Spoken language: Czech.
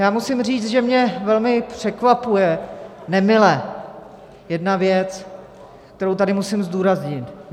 Já musím říct, že mě velmi překvapuje , nemile, jedna věc, kterou tady musím zdůraznit.